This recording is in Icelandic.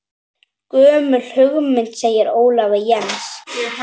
Gömul hugmynd segir Ólafur Jens.